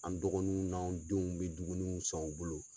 An dɔgɔninw n'an denw bɛ duguniw san u bolo.